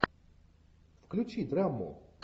включи драму